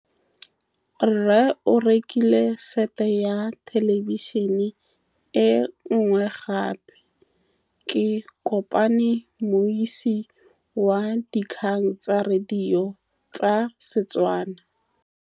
Rre o rekile sete ya thêlêbišênê e nngwe gape. Ke kopane mmuisi w dikgang tsa radio tsa Setswana.